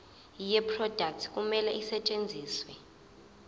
yeproduct kumele isetshenziswe